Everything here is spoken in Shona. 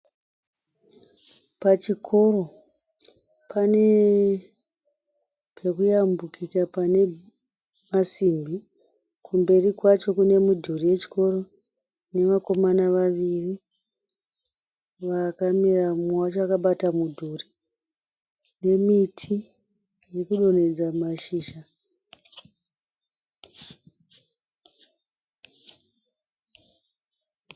Pachikoro pane pekuyambukika pane masimbi kumberi kwacho kune mudhuri wechikoro nevakomana vaviri vakamira mumwe wacho akabata mudhuri nemiti ikudonhedza mashizha.